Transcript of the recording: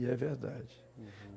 E é verdade.